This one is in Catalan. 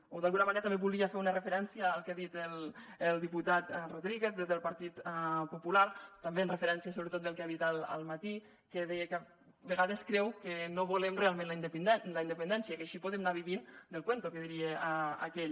o d’alguna manera també volia fer una referència al que ha dit el diputat rodríguez des del partit popular també en referència sobretot al que ha dit al matí que deia que a vegades creu que no volem realment la independència que així podem anar vivint del cuento que diria aquell